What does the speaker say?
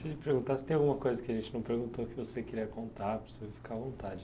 Deixa eu te perguntar se tem alguma coisa que a gente não perguntou que você queria contar, para você ficar à vontade.